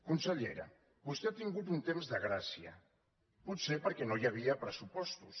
consellera vostè ha tingut un temps de gràcia potser perquè no hi havia pressupostos